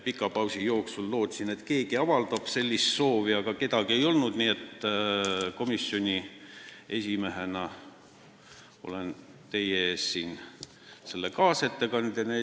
Pika pausi jooksul lootsin, et keegi avaldab sellist soovi, aga kedagi ei olnud, nii et komisjoni esimehena olen siin teie ees kaasettekandjana.